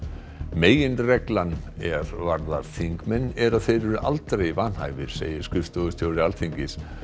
meginreglan er varðar þingmenn er að þeir eru aldrei vanhæfir segir skrifstofustjóri Alþingis